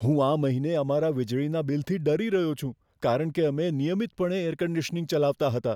હું આ મહિને અમારા વીજળીના બિલથી ડરી રહ્યો છું, કારણ કે અમે નિયમિતપણે એર કન્ડીશનીંગ ચલાવતા હતા.